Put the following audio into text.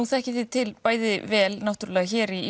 þekkið þið til bæði vel hér í